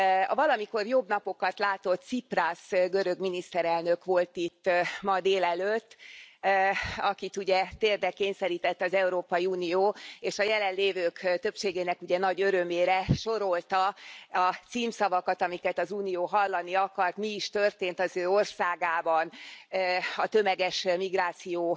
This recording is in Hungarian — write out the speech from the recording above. A valamikor jobb napokat látott Ciprasz görög miniszterelnök volt itt ma délelőtt, akit, ugye, térdre kényszerített az Európai Unió és a jelenlévők többségének nagy örömére sorolta a címszavakat, amiket az Unió hallani akart, mi is történt az ő országában a tömeges migráció